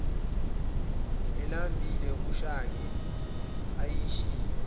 elambile ushange ayishiye